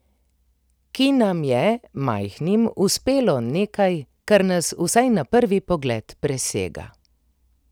Ki nam je, majhnim, uspelo nekaj, kar nas vsaj na prvi pogled presega.